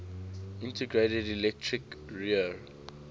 integrated electric rear